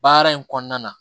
Baara in kɔnɔna na